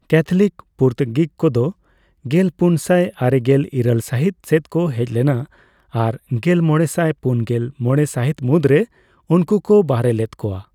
Catholic Portuguese ᱠᱚᱫᱚ ᱜᱮᱞᱯᱩᱱᱥᱟᱭ ᱟᱨᱮᱜᱮᱞ ᱤᱨᱟᱹᱞ ᱥᱟᱹᱦᱤᱛ ᱥᱮᱫ ᱠᱚ ᱦᱮᱡ ᱞᱮᱱᱟ ᱟᱨ ᱜᱮᱞᱢᱚᱲᱮᱥᱟᱭ ᱯᱩᱱᱜᱮᱞ ᱢᱚᱲᱮ ᱥᱟᱹᱦᱤᱛ ᱢᱩᱫᱽᱨᱮ ᱩᱱᱠᱩᱠᱚ ᱵᱟᱦᱨᱮ ᱞᱮᱫ ᱠᱚᱣᱟ ᱾